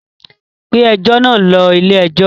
Gbé ẹjọ́ náà lọ ilé-ẹjọ́!